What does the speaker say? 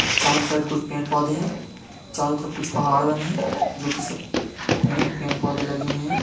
चारो साइड कुछ पेड़ पौधे है चारो तरफ कुछ पहाड़ बने है जो की सब मैं पेड़ पौधे लगे हुवे है।